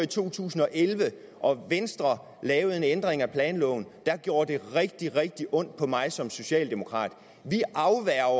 to tusind og elleve og venstre lavede en ændring af planloven gjorde det rigtig rigtig ondt på mig som socialdemokrat vi afværger